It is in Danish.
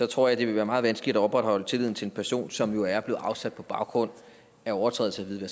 tror jeg det vil være meget vanskeligt at opretholde tilliden til en person som er blevet afsat på baggrund af overtrædelse